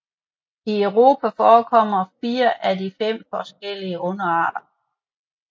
I Europa forekommer 4 af de 5 forskellige underarter